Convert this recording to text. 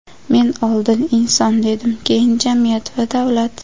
Men oldin "inson" dedim, keyin "jamiyat va davlat".